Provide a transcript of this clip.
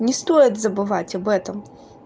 не стоит забывать об этом